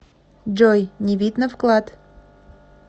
джой не видно вклад